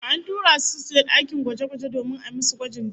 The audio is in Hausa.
An tura su suke dakin gwaje-gwaje domin ayi musu gwajin jini